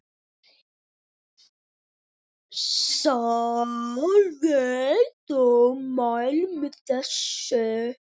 Sólveig: Þú mælir með þessu?